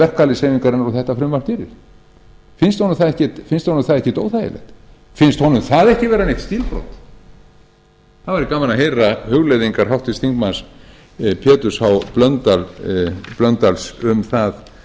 kröfum verkalýðshreyfingarinnar og þetta frumvarp gerir finnst honum það ekkert óþægilegt finnst honum það ekki vera neitt stílbrot það væri gaman að heyra hugleiðingar háttvirtur þingmaður péturs h blöndals um það